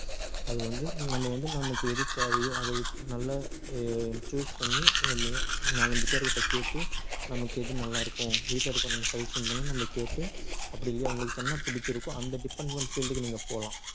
அது வந்து நம்ம வந்து நமக்கு எது தேவையோ அது நல்லா அஹ் choose பண்ணி ந~ நாலஞ்சு பேர் கிட்ட கேட்டு நமக்கு எது நல்லா இருக்கும் வீட்ல இருக்கிறவங்க கிட்ட suggestion பண்ணி நம்ம கேட்டு அப்படி இல்லையா உங்களுக்கு என்ன புடிச்சிருக்கோ அந்த department field க்கு நீங்க போகலாம்